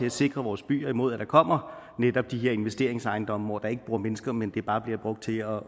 at sikre vores byer imod at der netop kommer de her investeringsejendomme hvor der ikke bor mennesker men hvor de bare bliver brugt til at